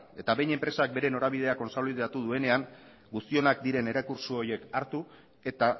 behin enpresak bere norabidea kontsolidatu duenean guztionak diren errekurtso horiek hartu eta